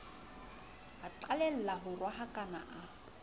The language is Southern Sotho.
a qalelle ho rohakana a